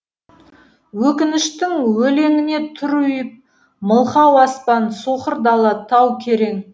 өкініштің өлеңіне тұр ұйып мылқау аспан соқыр дала тау керең